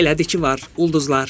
Elədi ki, var, ulduzlar.